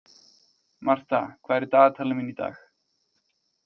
Martha, hvað er í dagatalinu mínu í dag?